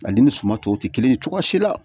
Ale ni suman tɔw tɛ kelen ye cogoya si la